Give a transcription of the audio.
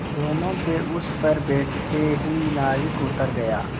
दोेनों के उस पर बैठते ही नाविक उतर गया